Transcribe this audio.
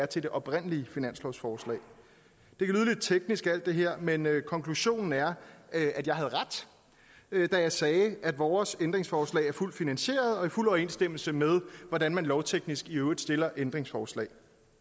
til det oprindelige finanslovsforslag alt det her men konklusionen er at jeg havde ret da jeg sagde at vores ændringsforslag er fuldt finansieret og i fuld overensstemmelse med hvordan man lovteknisk i øvrigt stiller ændringsforslag